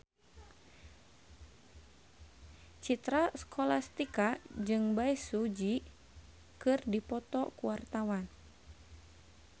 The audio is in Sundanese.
Citra Scholastika jeung Bae Su Ji keur dipoto ku wartawan